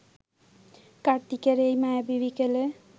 কার্তিকের এই মায়াবী বিকেলে